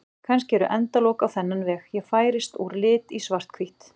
Kannski eru endalok á þennan veg: Ég færist úr lit í svarthvítt.